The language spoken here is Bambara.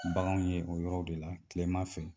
Baganw ye o yɔrɔ de la tilema fɛ